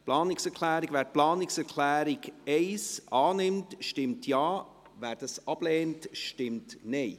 Wer die Planungserklärung 1 annimmt, stimmt Ja, wer diese ablehnt, stimmt Nein.